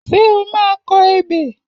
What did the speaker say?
Ṣé o máa kọ ebè?